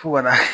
Fo ka na